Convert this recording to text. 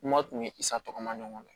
Kuma tun bɛ i sagona ɲɔgɔn na